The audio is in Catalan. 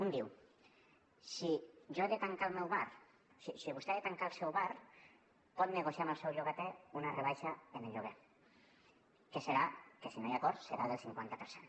un diu si vostè ha de tancar el seu bar pot negociar amb el seu llogater una rebaixa en el lloguer que si no hi ha acord serà del cinquanta per cent